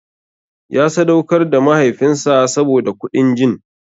Ya sadaukar da mahaifinsa saboda kuɗin jin.